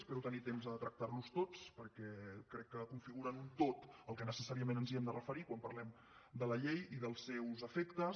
espero tenir temps de tractar los tots perquè crec que configuren un tot a què necessàriament ens hem de referir quan parlem de la llei i dels seus efectes